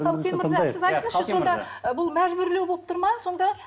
қалкен мырза сіз айтыңызшы сонда ы бұл мәжбүрлеу болып тұр ма сонда